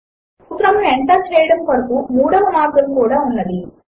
ఒక సూత్రమును ఎంటర్ చేయడము కొరకు మూడవ మార్గము ఉన్నది